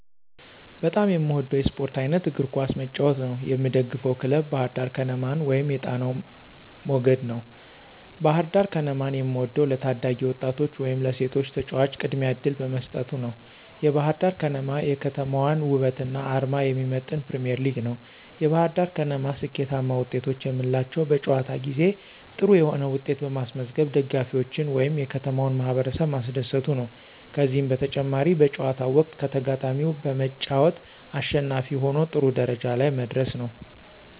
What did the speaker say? በጣም የምወደው የስፖርት አይነት የእግር ኳስ መጫወት ነው። የምደግፈው ክለብ ባህርዳር ከነማን ወይም የጣናው መገድ ነው። ባህርዳር ከነማን የምወደው ለታዳጊ ወጣቶች ወይም ለሴቶች ተጫዋቾች ቅድሚያ እድል በመስጠት ነዉ። የባህርዳር ከነማ የከተማዋን ወበትና አርማ የሚመጥን ፕሪሚዬርሊግ ነው። የባህርዳር ከነማ ስኬታማ ወጤቶች የምንላቸው በጨዋታ ጊዜ ጥሩ የሆነ ዉጤት በማስመዝገብ ደጋፊዎችን ወይም የከተማውን ማህበረሰብ ማስደሰቱ ነዉ። ከዚህም በተጨማሪ በጨዋታው ወቅት ከተጋጣሚው በመጫወት አሸናፊ ሁኖ ጥሩ ደረጃ ላይ መድረሱ ነው።